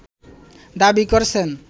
দাবি করছেন